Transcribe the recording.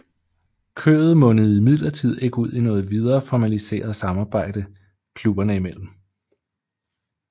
Mødet mundede imidlertidigt ikke ud i noget videre formaliseret samarbejde klubberne imellem